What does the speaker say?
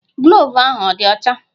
Gloovu ahụ adị ọcha?